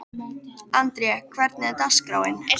André, hvernig er dagskráin?